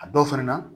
A dɔw fɛnɛ na